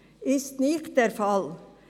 Das ist nicht der Fall.